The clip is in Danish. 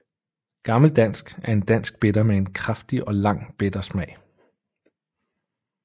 Gammel Dansk er en dansk Bitter med en kraftig og lang bitter smag